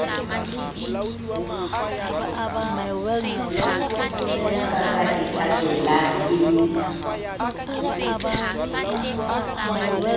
ka ka e thabelang e